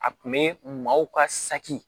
A kun be maaw ka saki